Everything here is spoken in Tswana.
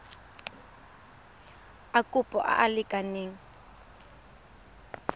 a kopo a a lekaneng